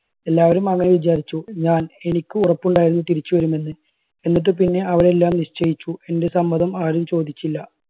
എല്ലാവരും അങ്ങനെ വിചാരിച്ചു ഞാൻ എനിക്ക് ഉറപ്പുണ്ടായിരുന്നു തിരിച്ചു വരുമെന്ന്. എന്നിട്ട് പിന്നെ അവരെല്ലാം നിശ്ചയിച്ചു എൻറെ സമ്മതം ആരും ചോദിച്ചില്ല.